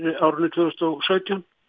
tvö þúsund og sautján